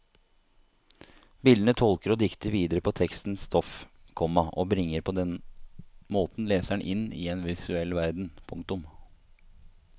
Bildene tolker og dikter videre på tekstens stoff, komma og bringer på den måten leseren inn i en visuell verden. punktum